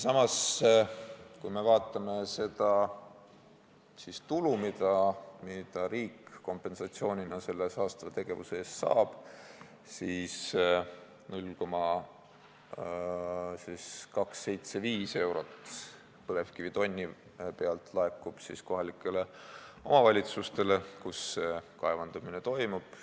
Samas, kui me vaatame seda tulu, mida riik kompensatsioonina selle saastava tegevuse eest saab, siis näeme, et 0,275 eurot põlevkivitonni pealt laekub nendele kohalikele omavalitsustele, kus see kaevandamine toimub.